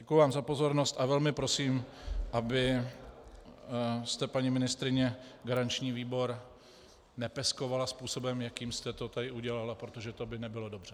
Děkuji vám za pozornost a velmi prosím, abyste, paní ministryně, garanční výbor nepeskovala způsobem, jakým jste to tady udělala, protože to by nebylo dobře.